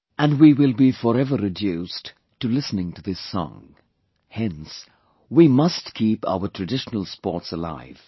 And we will be forever reduced to listening to this song, hence we must keep our traditional sports alive